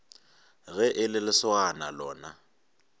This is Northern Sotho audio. ge e le lesogana lona